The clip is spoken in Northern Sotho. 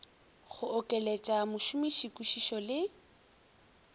go okeletša mošomiši kwišišo le